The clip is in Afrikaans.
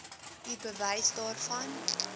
u bewys daarvan